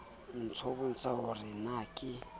nbotsa ho re na ke